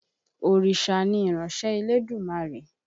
Òrìṣà ni ìránṣẹ́ Elédùmarè.